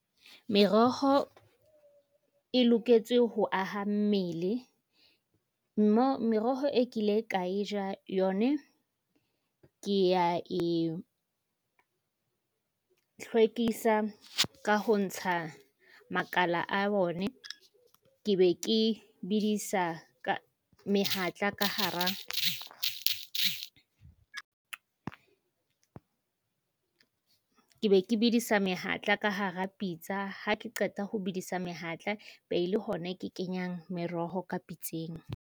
Meroho e loketse ho aha mmele. mma. Meroho e kile ka e ja yone ke ya e hlwekisa ka ho ntsha makala a bone. Ke be ke bedisa ka mehatla ka hara ke be ke bedisa mehatla ka hara pitsa. Ha ke qeta ho bedisa mehatla be le hona ke kenyang meroho ka pitseng.